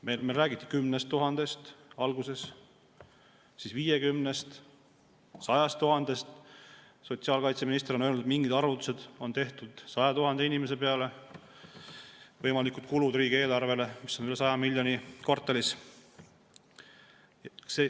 Meile räägiti 10 000‑st alguses, siis 50‑st, 100 000‑st. Sotsiaalkaitseminister on öelnud, et mingid arvutused on tehtud 100 000 inimese peale ja võimalikud kulud riigieelarvele on üle 100 miljoni kvartalis.